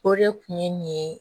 O de kun ye nin ye